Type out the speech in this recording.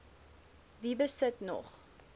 wie besit nog